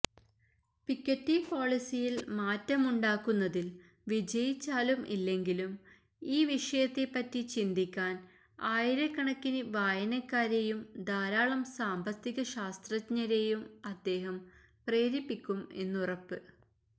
Piketty പോളിസിയില് മാറ്റമുണ്ടാക്കുന്നതില് വിജയിച്ചാലും ഇല്ലെങ്കിലും ഇ വിഷയത്തെപ്പറ്റി ചിന്തിക്കാന് ആയിരക്കണക്കിന് വായനക്കാരെയും ധാരാളം സാമ്പത്തികശാസ്ത്രജ്ഞരെയും അദ്ദേഹം പ്രേരിപ്പിക്കും എന്നുറപ്പ്